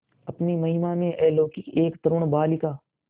अपनी महिमा में अलौकिक एक तरूण बालिका